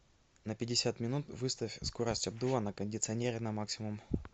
на пятьдесят минут выставь скорость обдува на кондиционере на максимум